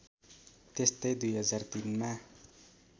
त्यस्तै २००३ मा